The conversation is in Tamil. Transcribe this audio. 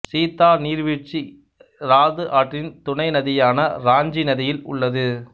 சீதா நீர்வீழ்ச்சி இராது ஆற்றின் துணை நதியான இராஞ்சி நதியில் உள்ளது